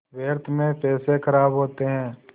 व्यर्थ में पैसे ख़राब होते हैं